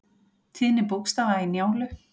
Tíðni bókstafa í Njálu.